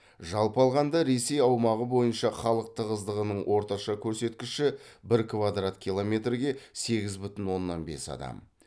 жалпы алғанда ресей аумағы бойынша халық тығыздығының орташа көрсеткіші бір квадрат километрге сегіз бүтін оннан бес адам